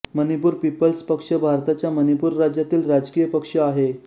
Manipur Peoples पक्ष भारताच्या मणिपूर राज्यातील राजकीय पक्ष आहे